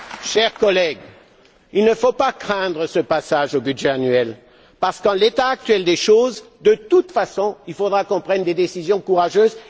Chers collègues, il ne faut pas craindre ce passage au budget annuel, parce que, dans l'état actuel des choses, de toute façon, il faudra qu'on prenne des décisions courageuses.